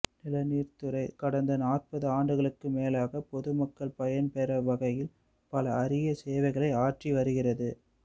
நிலநீர்த் துறை கடந்த நாற்பது ஆண்டுகளுக்கும் மேலாக பொதுமக்கள் பயன் பெறும் வகையில் பல அறிய சேவைகளை ஆற்றி வருகிறது